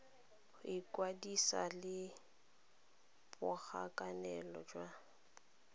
go ikwadisa le borakanelo jwa